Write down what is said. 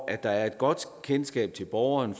at der er et godt kendskab til borgeren